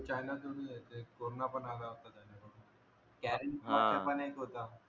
चायनातूनच येते कोरोना पण आला होता चायनातून क्यारेन्स असं हा पण एक होता